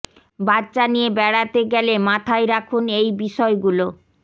বাচ্চা নিয়ে বেড়াতে গেলে এই মাথায় রাখুন এই বিষয়গুলো